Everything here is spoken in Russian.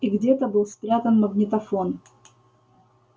и где-то был спрятан магнитофон